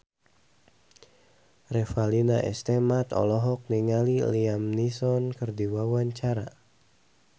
Revalina S. Temat olohok ningali Liam Neeson keur diwawancara